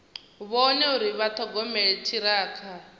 vhone uri vha ṱhogomela ṱhirakha